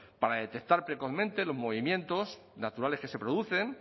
para detectar precozmente los movimientos naturales que se producen